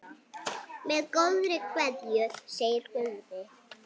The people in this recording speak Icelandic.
Með góðri kveðju, segir Guðni.